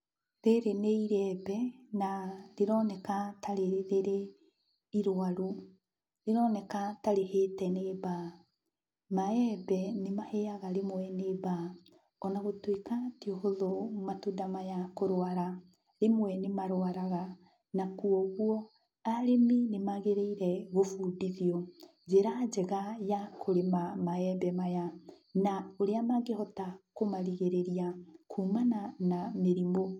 Rĩrĩ nĩ iyembe na rĩroneka ta rĩrĩ, rĩrĩ irwaru, rĩroneka ta rĩhĩte nĩ mbaa. Maembe nĩmahĩaga rĩmwe nĩ mbaa. Ona gũtuĩka ti ũhũthũ matunda maya kũrwara, rĩmwe nĩmarwaraga. Na, kuoguo arĩmi nĩmagĩrĩire gũbundithio njĩra njega ya kũrĩma maembe maya, na ũrĩa mangĩhota kũmarigĩrĩria kumana na mĩrimũ.